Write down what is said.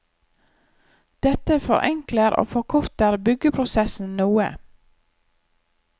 Dette forenkler og forkorter byggeprosessen noe.